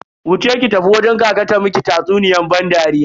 Wuce ki tafi wajen kaka ta miki tatsuniyan ban dariya.